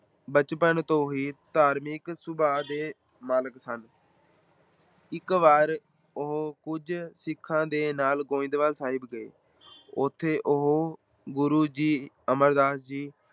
ਬਚਪਨ ਤੋਂ ਹੀ ਧਾਰਮਕ ਸੁਭਾਅ ਦੇ ਮਾਲਕ ਸਨ ਇੱਕ ਵਾਰ ਉਹ ਕੁਝ ਸਿੱਖਾ ਦੇ ਨਾਲ ਗੋਇੰਦਵਾਲ ਸਾਹਿਬ ਗਏ ਉੱਥੇ ਉਹ ਗੁਰੂ ਜੀ ਅਮਰਦਾਸ ਜੀ